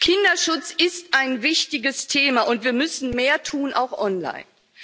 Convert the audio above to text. Kinderschutz ist ein wichtiges Thema. Und wir müssen mehr tun auch online.